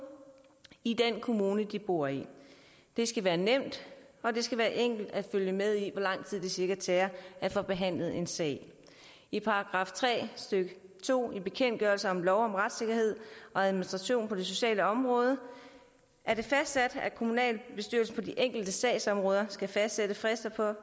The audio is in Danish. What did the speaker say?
i den kommune de bor i det skal være nemt og det skal være enkelt at følge med i hvor lang tid det cirka tager at få behandlet en sag i § tre stykke to i bekendtgørelse om lov om retssikkerhed og administration på det sociale område er det fastsat at kommunalbestyrelsen på de enkelte sagsområder skal fastsætte frister for